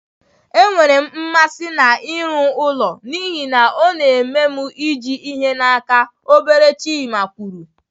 Enwere m mmasị n'ịrụ ụlọ n'ihi na ọ na-eme m iji ihe n'aka, obere Chima kwuru.